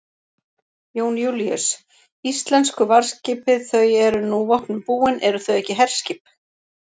Jón Júlíus: Íslensku varðskipið þau eru nú vopnum búin, eru þau ekki herskip?